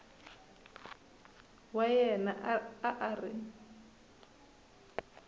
wa yena a a ri